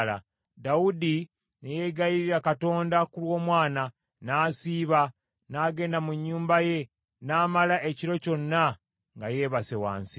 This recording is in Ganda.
Dawudi ne yeegayirira Katonda ku lw’omwana, n’asiiba, n’agenda mu nnyumba ye n’amala ekiro kyonna nga yeebase wansi.